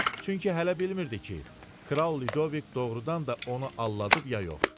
Çünki hələ bilmirdi ki, kral Lidovik doğurdan da onu aldadıb ya yox.